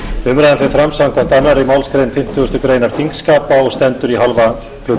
umræðan fer fram samkvæmt annarri málsgrein fimmtugustu grein þingskapa og stendur í hálfa klukkustund